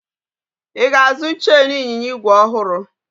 Ị ga-azụ cheenu ịnyịnya igwe ọhụrụ?